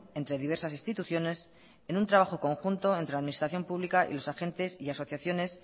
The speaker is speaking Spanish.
entre diversas instituciones en un trabajo conjunto entre la administración pública y los agentes y asociaciones